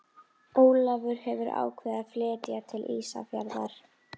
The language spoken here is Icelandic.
Ólafur hefðu ákveðið að flytja til Ísafjarðar.